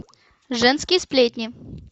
женские сплетни